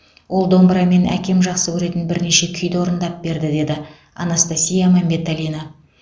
ол домбырамен әкем жақсы көретін бірнеше күйді орындап берді деді анастасия мәмбеталина